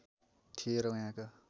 थिए र यहाँका